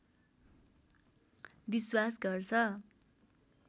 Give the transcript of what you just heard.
विश्वास गर्छ